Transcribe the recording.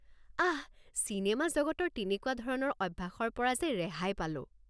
আহ! চিনেমা জগতৰ তেনেকুৱা ধৰণৰ অভ্যাসৰ পৰা যে ৰেহাই পালো।